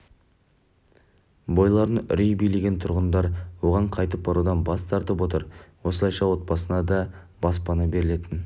бойларын үрей билеген тұрғындар оған қайтып барудан бас тартып отыр осылайша отбасына да баспана берілетін